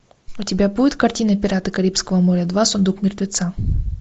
у тебя будет картина пираты карибского моря два сундук мертвеца